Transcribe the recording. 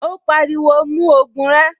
Ó pariwo, "mú ògùn rẹ."